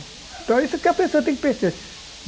Então isso que a pessoa tem que pensar.